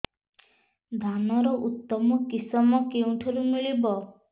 ଧାନର ଉତ୍ତମ କିଶମ କେଉଁଠାରୁ ମିଳିବ